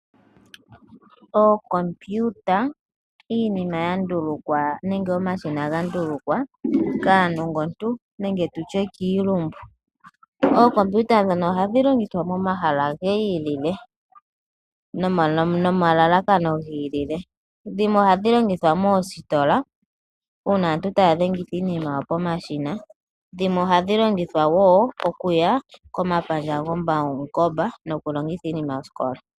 Oo kompiuta iinima yandulukwa nenge omashina ga ndulukwa kaa nongontu nenge tutye kiilumbu. Oo kompiuta ohadhilongithwa momahala giilile nomalalakano giilile, dhimwe ohadhilongithwa moositola uuna aantu tayadhengitha iinima yawo pomashina, dhimwe ohadhilongithwa okuya komapandja go pawungomba nokulongitha iinima yosikola.